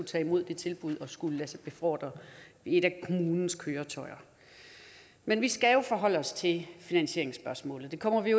tage imod det tilbud at skulle lade sig befordre i et af kommunens køretøjer men vi skal jo forholde os til finansieringsspørgsmålet det kommer vi